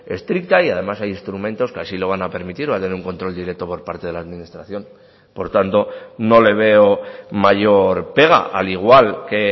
estricta y además hay instrumentos que así lo van a permitir va a tener un control directo por parte de la administración por tanto no le veo mayor pega al igual que